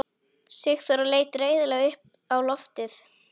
Sigþóra leit reiðilega upp á loftið.